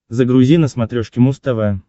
загрузи на смотрешке муз тв